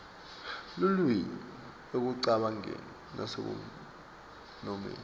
lulwimi ekucabangeni nasekunomeni